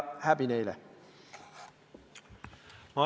Häbi neile!